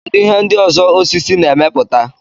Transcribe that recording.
kedụ ihe ndị ọzọ osisi na-emepụta